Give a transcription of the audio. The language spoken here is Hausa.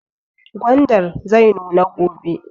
Gwandan zai nuna gobe